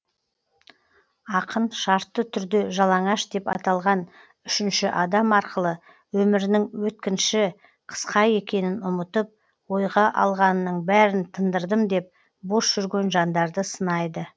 ақын шартты түрде жалаңаш деп аталған үшінші адам арқылы өмірінің өткінші қысқа екенін ұмытып ойға алғанының бәрін тындырдым деп бос жүрген жандарды сынайды